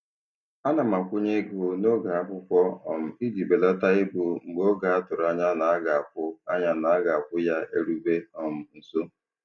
Ana m akwụnye ego n'oge akwụkwọ um iji belata ibu mgbe oge a tụrụ anya na-aga akwụ anya na-aga akwụ ya erube um nso.